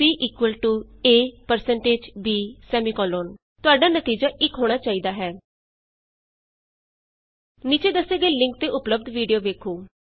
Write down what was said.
c a160 b ਤੁਹਾਡਾ ਨਤੀਜਾ 1 ਹੋਣਾ ਚਾਹੀਦਾ ਹੈ 1 ਨੀਚੇ ਦੱਸੇ ਗਏ ਲਿੰਕ ਤੇ ਉਪਲੱਭਦ ਵੀਡੀਊ ਵੇਖੋ